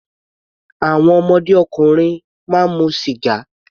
Àwọn ọmọdé ọkùnrin máa mu sìgá.